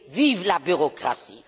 Vive la bureaucratie!